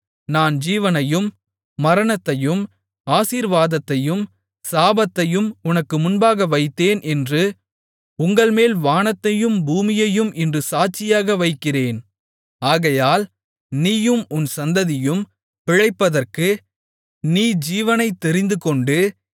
நான் ஜீவனையும் மரணத்தையும் ஆசீர்வாதத்தையும் சாபத்தையும் உனக்கு முன்பாக வைத்தேன் என்று உங்கள்மேல் வானத்தையும் பூமியையும் இன்று சாட்சியாக வைக்கிறேன் ஆகையால் நீயும் உன் சந்ததியும் பிழைப்பதற்கு நீ ஜீவனைத் தெரிந்துகொண்டு